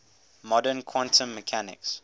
modern quantum mechanics